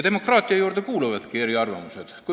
Demokraatia juurde kuuluvadki eriarvamused.